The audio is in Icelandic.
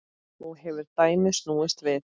Nú hefur dæmið snúist við.